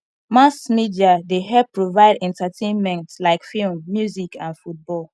mass media dey help provide entertainment like film music and football